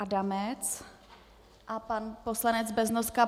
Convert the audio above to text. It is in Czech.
Adamec a pan poslanec Beznoska.